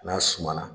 N'a suma na